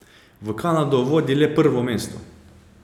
V Kanado vodi le prvo mesto.